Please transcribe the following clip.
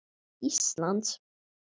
til Íslands?